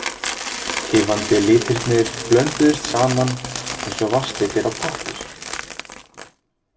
Tifandi litirnir blönduðust saman eins og vatnslitir á pappír.